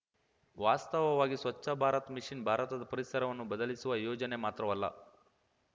ವಾಸ್ತವವಾಗಿ ಸ್ವಚ್ಛ ಭಾರತ್ ಮಿಷನ್‌ ಭಾರತದ ಪರಿಸರವನ್ನು ಬದಲಿಸುವ ಯೋಜನೆ ಮಾತ್ರವಲ್ಲ